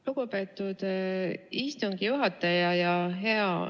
Lugupeetud istungi juhataja!